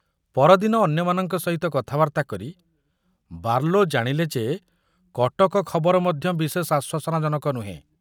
ପରଦିନ ଅନ୍ୟମାନଙ୍କ ସହିତ କଥାବାର୍ତ୍ତା କରି ବାର୍ଲୋ ଜାଣିଲେ ଯେ କଟକ ଖବର ମଧ୍ୟ ବିଶେଷ ଆଶ୍ୱାସନାଜନକ ନୁହେଁ।